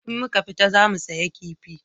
In muka fita za mu saya kifi